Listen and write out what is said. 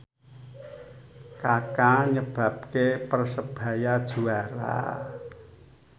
Kaka nyebabke Persebaya juara